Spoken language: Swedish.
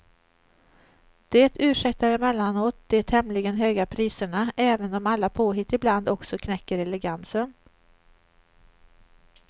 Det ursäktar emellanåt de tämligen höga priserna, även om alla påhitt ibland också knäcker elegansen.